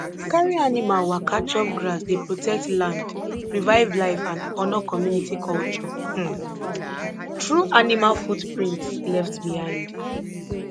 carry animal waka chop grass dey protect land revive life and honor community culture um through animal footprints left behind